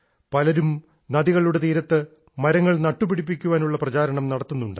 പലരും നദികളുടെ തീരത്ത് മരങ്ങൾ നട്ടുപിടിപ്പിക്കാനുള്ള പ്രചാരണം നടത്തുന്നുണ്ട്